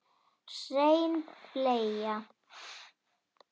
Hrein bleia